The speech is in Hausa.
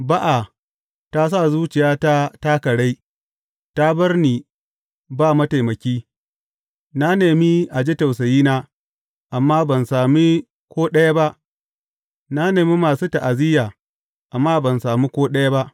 Ba’a ta sa zuciyata ta karai ta bar ni ba mataimaki; Na nemi a ji tausayina, amma ban sami ko ɗaya ba, na nemi masu ta’aziyya, amma ban sami ko ɗaya ba.